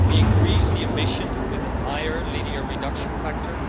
We increased the ambition with a higher linear reduction factor.